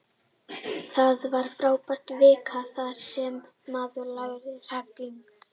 Það var frábær vika þar sem maður lærði helling.